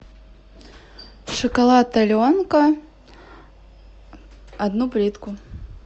шоколад аленка одну плитку